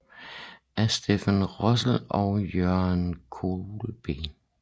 Af Stephen Russell og Jürgen Kolb